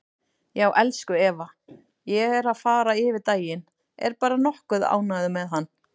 Já, elsku Eva, ég er að fara yfir daginn, er bara nokkuð ánægður með hann.